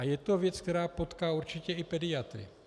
A je to věc, která potká určitě i pediatry.